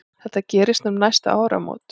Þetta gerist um næstu áramót.